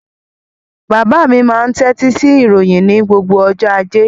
Bàbá mi máa ń tẹ́tí sí ìròyìn ní gbogbo ọjọ́ ajé.